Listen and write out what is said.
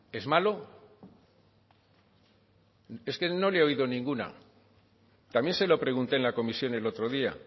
es malo es que no le he oído ninguna también se lo pregunté en la comisión el otro día